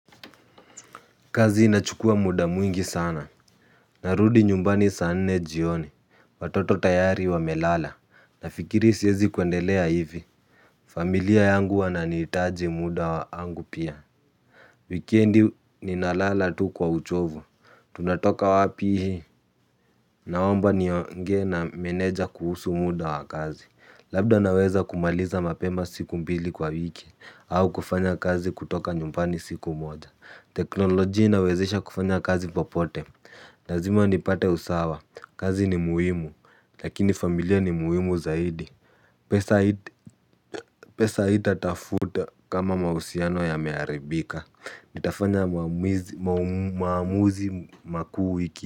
Kazi inachukua muda mwingi sana. Narudi nyumbani saa nne jioni. Watoto tayari wamelala. Nafikiri siezi kuendelea hivi. Familia yangu wananihitaji muda wangu pia. Wikendi ninalala tu kwa uchovu. Tunatoka wapi hii. Naomba niongee na meneja kuhusu muda wa kazi. Labda naweza kumaliza mapema siku mbili kwa wiki. Au kufanya kazi kutoka nyumbani siku moja. Teknolojia inawezesha kufanya kazi popote lazima nipate usawa, kazi ni muhimu, lakini familia ni muhimu zaidi. Pesa haita tafuta kama mahusiano yameharibika. Nitafanya maamuzi makuu wiki.